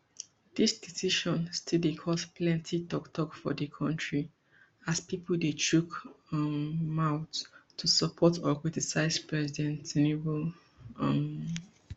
dis decision still dey cause plenty toktok for di kontri as pipo dey chook um mouth to support or criticise president tinubu um